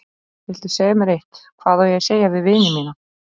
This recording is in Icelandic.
Viltu segja mér eitt: hvað á ég að segja við vini mína.